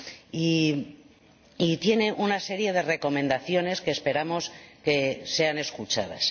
y tiene una serie de recomendaciones que esperamos sean escuchadas.